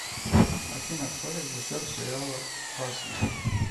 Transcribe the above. афина кто режиссер сериала касл